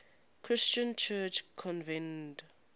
christian church convened